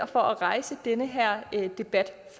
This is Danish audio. for at rejse denne debat